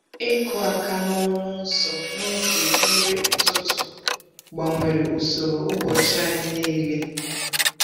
Ịkụ aka n’ọnụ ụzọ n’oge nri ụtụtụ gbanwere usoro ụbọchị anyị niile.